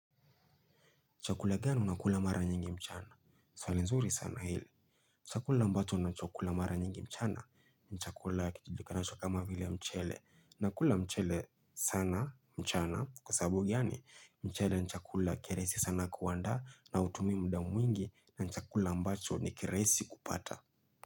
Chakula gani unakula mara nyingi mchana? Swali nzuri sana hili. Chakula ambacho nachokula mara nyingi mchana, ni chakula kijulikanacho kama vile mchele. Nakula mchele sana mchana kwa sababu gani, mchele ni chakula kirahisi sana kuandaa na hutumi muda mwingi na ni chakula ambacho ni kirahisi kupata.